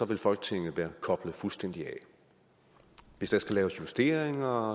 vil folketinget være koblet fuldstændig af hvis der skal laves justeringer